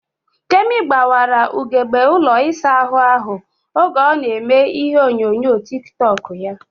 Kemi gbawara ugegbe ụlọ isa ahụ ahụ oge ọ na eme ihe onyonyo tik tọk ya